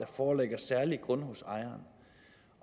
foreligger særlige grunde hos ejeren